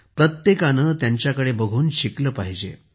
प्रत्येकाने त्यांच्याकडे बघून शिकले पाहिजे